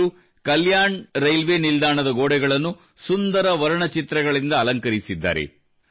ಇವರು ಕಲ್ಯಾಣ ರೈಲ್ವೇ ನಿಲ್ದಾಣದ ಗೋಡೆಗಳನ್ನು ಸುಂದರ ವರ್ಣಚಿತ್ರಗಳಿಂದ ಅಲಂಕರಿಸಿದ್ದಾರೆ